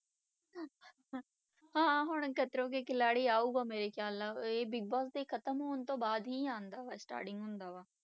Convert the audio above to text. ਹਾਂ ਹੁਣ ਖਤਰੋਂ ਕੇ ਖਿਲਾਡੀ ਆਊਗਾ ਮੇਰੇ ਖਿਆਲ ਨਾਲ, ਇਹ ਬਿਗ ਬੋਸ ਦੇ ਖਤਮ ਹੋਣ ਤੋਂ ਬਾਅਦ ਹੀ ਆਉਂਦਾ ਵਾ starting ਹੁੰਦਾ ਵਾ।